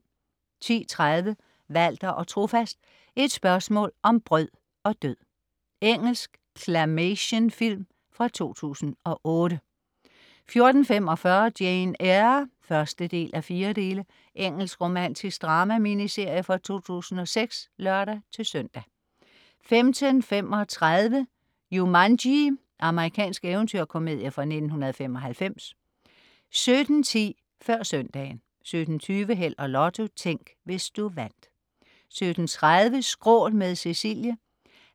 10.30 Walter & Trofast. Et spørgsmål om brød og død. Engelsk claymationfilm fra 2008 14.45 Jane Eyre (1:4). Engelsk romantisk drama-miniserie fra 2006 (lør-søn) 15.35 Jumanji. Amerikansk eventyrkomedie fra 1995 17.10 Før Søndagen 17.20 Held og Lotto. Tænk, hvis du vandt 17.30 Skrål med Cecilie.